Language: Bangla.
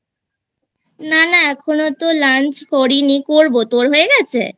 না না এখনো তো Lunch করি নি করবো তোর হয়ে গেছে?